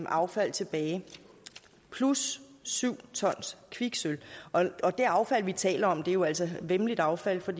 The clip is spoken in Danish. affald tilbage plus syv tons kviksølv og det affald vi taler om er jo altså væmmeligt affald for